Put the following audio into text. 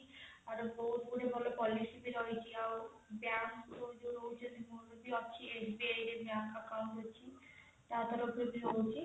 ଆଉ ବହୁତ ଗୁଡାଏ ମୋର policy ଭି ରହିଛି ଆଉ bank ଅଛି SBI ରେ bank account ଅଛି ତା ତରଫରୁ ବି ରହିଛି।